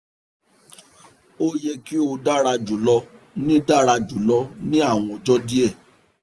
o yẹ ki o dara julọ ni dara julọ ni awọn ọjọ diẹ